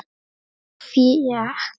Þá fékk